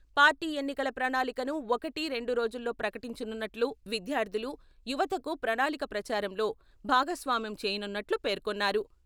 Party ఎన్నికల ప్రణాళికను ఒకటి రెండు రోజుల్లో ప్రకటించనున్నట్లు విద్యార్థులు, యువతకు ప్రణాళిక ప్రచారంలో భాగస్వామ్యం చేయనున్నట్లు పేర్కొన్నారు.